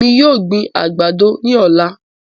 Èmi yóò gbin àgbàdo ní ọ̀la.